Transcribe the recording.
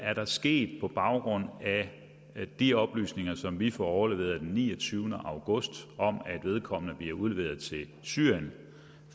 er der sket på baggrund af de oplysninger som vi får overleveret den niogtyvende august om at vedkommende bliver udleveret til syrien